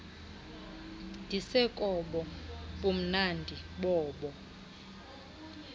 ndisekobo bumnandi bobo